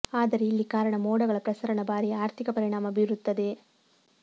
ಆದರೆ ಇಲ್ಲಿ ಕಾರಣ ಮೋಡಗಳ ಪ್ರಸರಣ ಬಾರಿ ಆರ್ಥಿಕ ಪರಿಣಾಮ ಬೀರುತ್ತದೆ